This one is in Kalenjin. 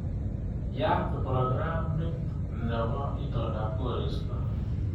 Yaat prokramit nebo itondab koristo